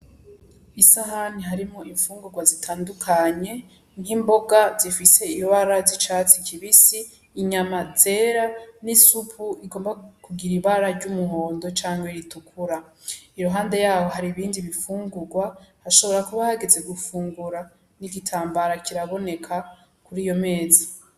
Isahani harimwo ifungurwa zitandukanye nk'imboga zifise ibara z'icatsi kibisi inyama zera n'isupu igomba kugira ibara ry; umuhondo canke ritukura iruhande yaho hari ibindi bifungurwa hashobora kuba hageze gufungura n'igitambara kiraboneka kuri iyo meza.